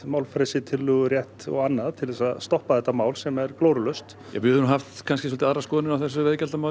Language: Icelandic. málfrelsi tillögurétt og annað til þess að stoppa þetta mál sem er glórulaust við höfum haft kannski svolítið aðra skoðun á þessu